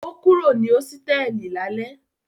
O kúrò ní hósítẹ́ẹ́lì lálẹ́?